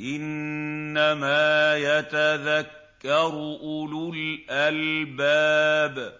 إِنَّمَا يَتَذَكَّرُ أُولُو الْأَلْبَابِ